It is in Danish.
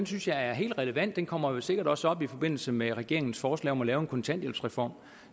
synes jeg er helt relevant den kommer jo sikkert også op i forbindelse med regeringens forslag om at lave en kontanthjælpsreform